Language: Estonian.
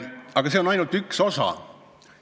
Aga see on ainult üks osa temaatikast.